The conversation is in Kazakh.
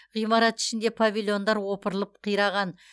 ғимират ішінде павильондар опырылып қираған